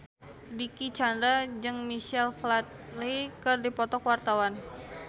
Dicky Chandra jeung Michael Flatley keur dipoto ku wartawan